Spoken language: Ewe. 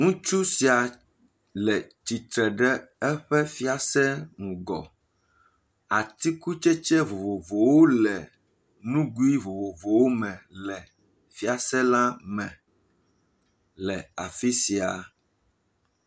Ŋutsu sia le tsitre ɖe eƒe fiase ŋgɔ, atikutsetse vovovowo le nugui vovovowo me le fiase la me le afi sia.